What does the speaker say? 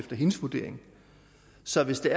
sådan set